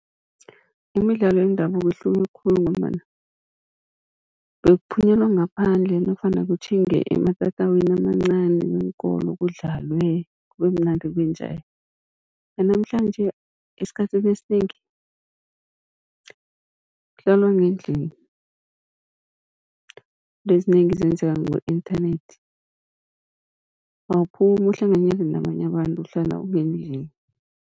Imidlalo yendabuko ihluke khulu, ngombana bekuphunyelwa ngaphandle nofana kutjhinge ematatawini amancani weenkolo kudlalwe kube mnandi kube njaya. Yanamhlanje esikhathini esinengi kuhlalwa ngendlini, izinto ezinengi zenzeka ku-inthanethi awuphumi uhlanganyele nabanye abantu uhlala ungendlini.